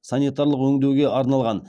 санитарлық өңдеуге арналған